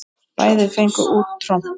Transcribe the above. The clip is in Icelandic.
Bæði fengu út tromp.